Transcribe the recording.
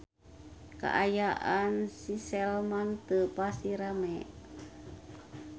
Kaayaan di Sleman teu pati rame